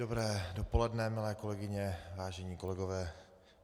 Dobré dopoledne, milé kolegyně, vážení kolegové.